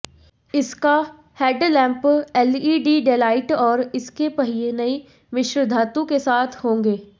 इसका headlamp LED daylight और इसके पहिए नई मिश्र धातु के साथ होंगे